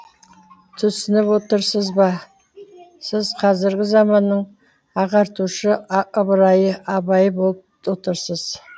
түсініп отырсыз ба сіз қазіргі заманның ағартушы ыбырайы абайы болып отырсыз